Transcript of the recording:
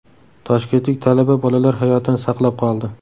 Toshkentlik talaba bolalar hayotini saqlab qoldi.